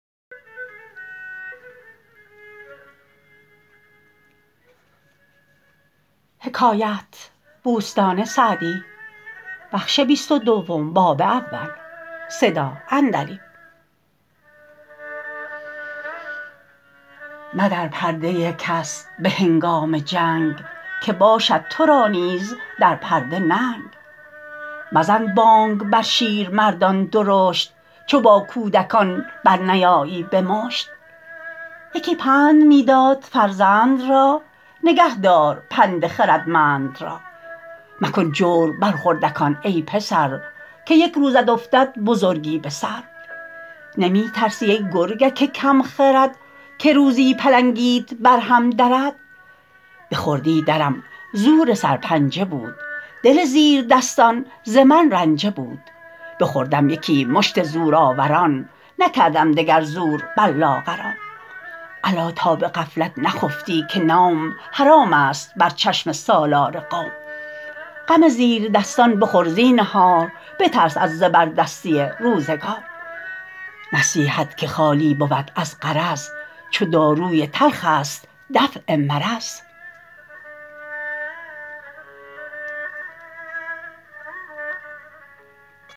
مدر پرده کس به هنگام جنگ که باشد تو را نیز در پرده ننگ مزن بانگ بر شیرمردان درشت چو با کودکان برنیایی به مشت یکی پند می داد فرزند را نگه دار پند خردمند را مکن جور بر خردکان ای پسر که یک روزت افتد بزرگی به سر نمی ترسی ای گرگک کم خرد که روزی پلنگیت بر هم درد به خردی درم زور سرپنجه بود دل زیردستان ز من رنجه بود بخوردم یکی مشت زورآوران نکردم دگر زور بر لاغران الا تا به غفلت نخفتی که نوم حرام است بر چشم سالار قوم غم زیردستان بخور زینهار بترس از زبردستی روزگار نصیحت که خالی بود از غرض چو داروی تلخ است دفع مرض